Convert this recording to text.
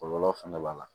Kɔlɔlɔ fɛnɛ b'a la